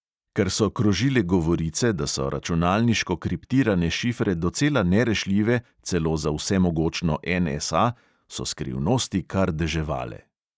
Ker so krožile govorice, da so računalniško kriptirane šifre docela nerešljive celo za vsemogočno NSA, so skrivnosti kar deževale.